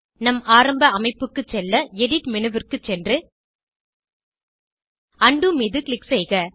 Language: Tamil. நம் ஆரம்ப அமைப்புக்கு செல்ல எடிட் மேனு க்கு சென்று உண்டோ மீது க்ளிக் செய்க